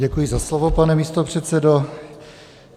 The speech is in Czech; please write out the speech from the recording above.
Děkuji za slovo, pane místopředsedo.